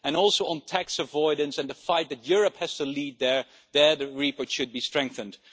Also, on tax avoidance and the fight that Europe has to lead there, the report should be strengthened.